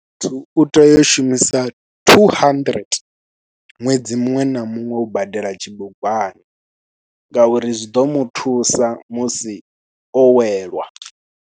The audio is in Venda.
Muthu u tea u shumisa thuu handirente ṅwedzi muṅwe na muṅwe u badela tshibugwana ngauri zwi ḓo mu thusa musi o welwa.